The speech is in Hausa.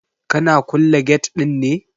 Kana kulle gate ɗin ne?